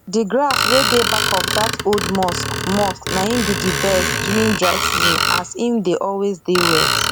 d grass wey dey back of dat old mosque mosque na im be d best during dry season as im dey always dey wet